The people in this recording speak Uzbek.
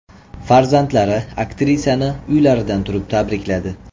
Farzandlari aktrisani uylaridan turib tabrikladi .